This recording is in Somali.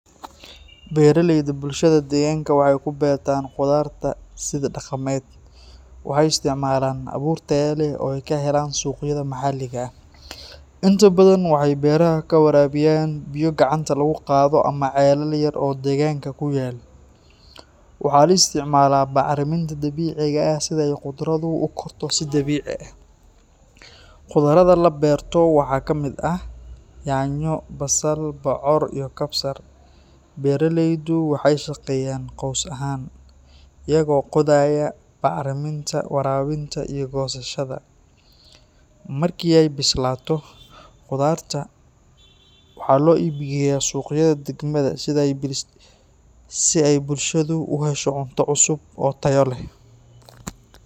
Beeraleyda bulshada deegaanka waxay ku beertaan khudaarta sidii dhaqameed. Waxay isticmaalaan abuur tayo leh oo ay ka helaan suuqyada maxalliga ah. Inta badan waxay beeraha ku waraabiyaan biyo gacanta lagu qaado ama ceelal yar oo deegaanka ku yaal. Waxaa la isticmaalaa bacriminta dabiiciga ah si ay khudaartu u korto si dabiici ah. Khudaaraha la beerto waxaa ka mid ah yaanyo, basal, bocor iyo kabsar. Beeraleydu waxay shaqeeyaan qoys ahaan, iyaga oo qodaya, bacriminta, waraabinta iyo goosashada. Markii ay bislaato, khudaarta waxaa loo iibgeeyaa suuqyada degmada si ay bulshadu u hesho cunto cusub oo tayo leh.